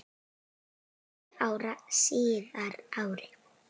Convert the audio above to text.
Níu árum síðar, árið